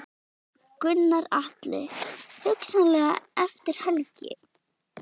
Gunnar Atli: Hugsanlega eftir helgi?